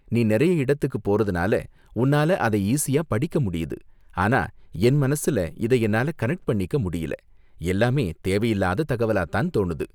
நீ நிறைய இடத்துக்கு போறதுனால உன்னால அதை ஈசியா படிக்க முடியுது, ஆனா என் மனசுல இத என்னால கனெக்ட் பண்ணிக்க முடியல, எல்லாமே தேவையில்லாத தகவலா தான் தோணுது.